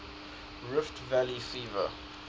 rift valley fever